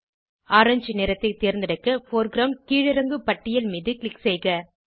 orange நிறத்தை தேர்ந்தெடுக்க foreground கீழிறங்கு பட்டியல் மீது க்ளிக் செய்க